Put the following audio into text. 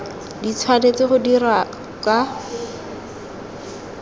di tshwanetse go dirwa ka